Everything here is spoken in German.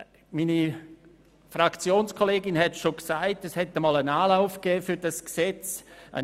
Wie meine Fraktionskollegin gesagt hat, gab es bereits einmal einen Anlauf, um dieses Gesetz zu schaffen.